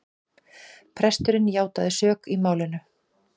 Presturinn játaði sök í málinu